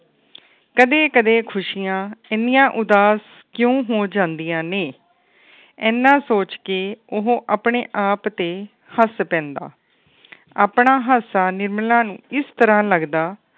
ਕਦੇ-ਕਦੇ ਖੁਸ਼ੀਆਂ ਇੰਨੀਆਂ ਉਦਾਸ ਕਿਉ ਹੋ ਜਾਂਦੀਆਂ ਨੇ ਇਨ੍ਹਾਂ ਸੋਚ ਕੇ ਉਹ ਆਪਣੇ ਆਪ ਤੇ ਹੱਸ ਪੈਂਦਾ ਆਪਣਾ ਹਾਸਾ ਨਿਰਮਲਾ ਨੂੰ ਇਸ ਤਰ੍ਹਾਂ ਲੱਗਦਾ